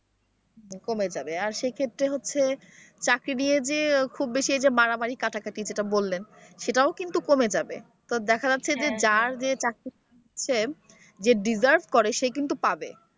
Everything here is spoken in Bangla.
কোমে যাবে আর সেই ক্ষেত্রে হচ্ছে চাকরি নিয়ে যে খুব বেশি এইযে মারামারি-কাটাকাটি যেটা বললেন সেটাও কিন্তু কমে যাবে তো দেখা যাচ্ছে যে যার যে চাকরির ইচ্ছে যে deserve করে সে কিন্তু পাবে।